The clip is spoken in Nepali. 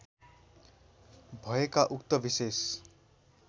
भएका उक्त विशेष